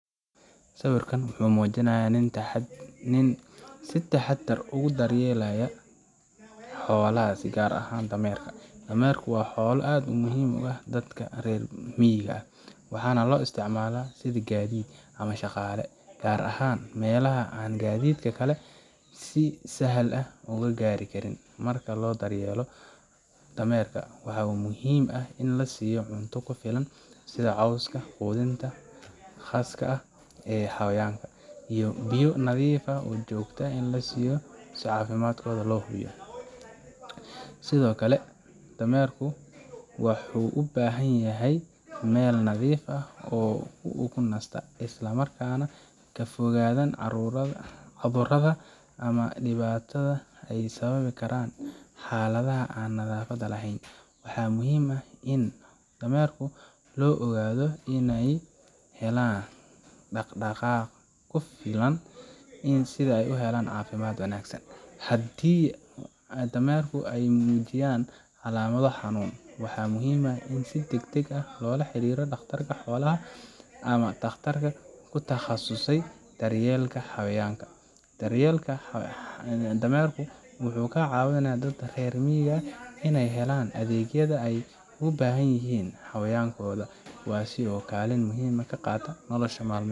Sawirkan waxa uu muujinayaa nin si taxadar leh ugu daryeelay xolaha si gaar ahaan dameerka. dameerka waa xoolo aad muhiim ugu ah dadka reer miyiga, waxaana loo isticmaalaa sidii gaadiid ama shaqaale, gaar ahaan meelaha aan gaadiidka kale si sahlan ugu gaari karin. Marka loo daryeelo dameerka, waxaa muhiim ah in la siiyo cunto ku filan sida caws ama quudinta khaaska ah ee xayawaanka, iyo biyo nadiif ah oo joogto ah si loo hubiyo caafimaadkooda. Sidoo kale, dameerka waxu u baahan yihiin meel nadiif ah oo ay ku nastaan, isla markaana ay ka fogaadaan cudurada ama dhibaatada ay sababi karaan xaaladaha aan nadaafadda lahayn. Waxaa muhiim ah in dameerka loo oggolaado inay helaan dhaqdhaqaaq ku filan, si ay u helaan caafimaad wanaagsan. Haddii dameerka ay muujiyaan calaamado xanuun, waxaa muhiim ah in si degdeg ah loola xiriiriyo dhakhtar xoolaha ama takhtar ku takhasusay daryeelka xayawaanka. Daryeelka dameerka wuxuu ka caawiyaa dadka reer miyiga inay helaan adeegyada ay uga baahan yihiin xayawaankooda, kuwaasoo kaalin muhiim ah ka qaata noloshooda maalinlaha ah.